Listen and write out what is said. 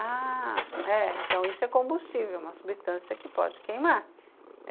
Ah, é, então isso é combustível, uma substância que pode queimar.